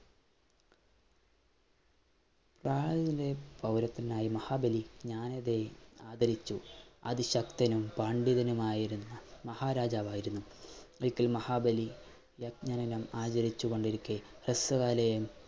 പ്രഹ്ലാദന്റെ പൗരത്വനായ മഹാബലി ജ്ഞാനരേ ആദരിച്ചു അതിശക്തനും പണ്ഡിതനുമായിരുന്ന മഹാരാജാവായിരുന്നു. ഒരിക്കൽ മഹാബലി യജ്ഞ ദിനം ആചരിച്ചുകൊണ്ടിരിക്കെ